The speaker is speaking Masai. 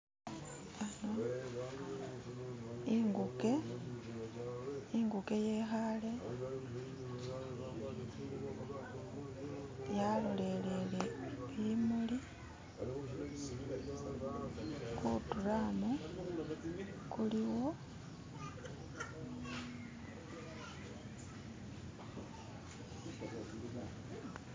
Ano inguke, inguke yekhaale yalolelele bimuli, ku drumu kuliwo.